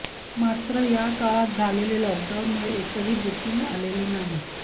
मात्र या काळात झालेले लॉकडाऊनमुळे एकही बुकिंग आलेले नाही